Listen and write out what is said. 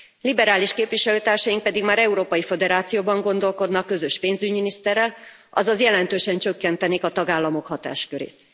Liberális képviselőtársaink pedig már Európai Föderációban gondolkodnak közös pénzügyminiszterrel, azaz jelentősen csökkentenék a tagállamok hatáskörét.